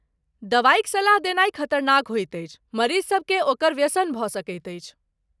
दवाइक सलाह देनाइ खतरनाक होइत अछि, मरीजसभ केँ ओकर व्यसन भऽ सकैत अछि।